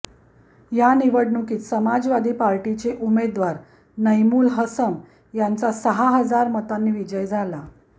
या निवडणुकीत समाजवादी पार्टीचे उमेदवार नैमुल हसम यांचा सहा हजार मतांनी विजय झाला